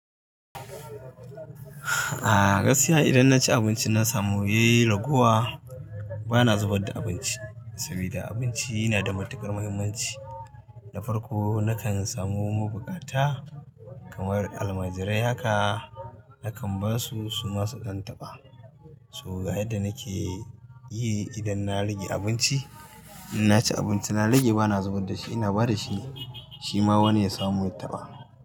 A gaskiya idan na ci abinci na samu yayi lagowa bana zubar da abinci saboda abinci yana da matukar muhimmanci. Na farko nakan samu bukata kamar almajirai haka nakan basu su masu zan tabba. So ga yadda nake yi idan na rage abinci, in na ci abinci na rage bana zubar da shi ina ba da shi shi ma wani ya samu ya taba.